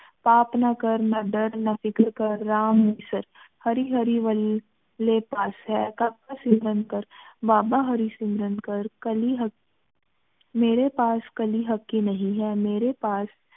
ਪਾਪ ਨਾ ਕਰ ਨਾ ਦਰ ਨਾ ਫਿਕਰ ਨਾ ਕਰ ਰਾਮ ਹਰਿ ਹਰਿ ਵਾਲ ਲੀ ਪਾਸ ਹੈ ਬਾਬਾ ਹਰਿ ਸਿਮਰਨ ਕਰ ਕਾਲੀ ਮੇਰੀ ਪਾਸ ਕਾਲੀ ਹਕ਼ ਕੀ ਨਹੀ ਹੈ ਮੇਰੀ ਪਾਸ